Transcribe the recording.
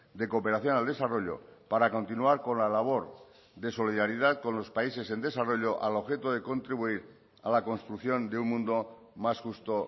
de cooperación al desarrollo para continuar con la labor de solidaridad con los países en desarrollo al objeto de contribuir a la construcción de un mundo más justo